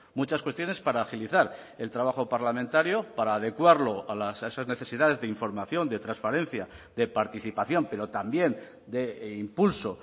muchas cuestiones para agilizar el trabajo parlamentario para adecuarlo a esas necesidades de información de transparencia de participación pero también de impulso